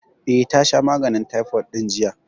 Eh, ta sha maganin taifot ɗin jiya